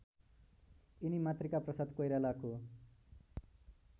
यिनी मातृकाप्रसाद कोइरालाको